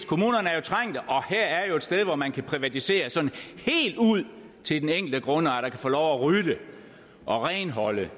kommunerne er jo trængte og her er et sted hvor man kan privatisere sådan helt ud til den enkelte grundejer der kan få lov at rydde og renholde det